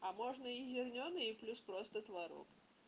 а можно и зерненый и плюс просто творог